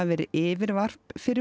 verið yfirvarp fyrir